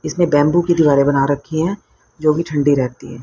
इसमें बैंबू दीवारें बना रखी हैं जो की ठंडी रेहती है।